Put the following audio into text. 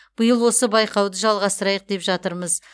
биыл осы байқауды жалғастырайық деп жатырмыз